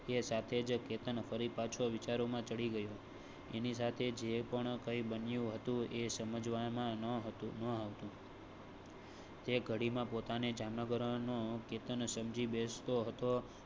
એ સાથે જ કેતન ફરી પાછો વિચાર માં પડી ગયો. એની સાથે જે કઈ બન્યું હતું એ સમજવા માં ન હતું ન હતું. એ ઘડી માં પોતા ને જામનગરનો કે તમે સમજી બેસ તો હતો